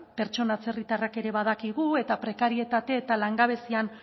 pertsona atzerritarrak ere badakigu eta prekarietate eta langabezian